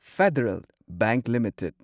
federal bank limited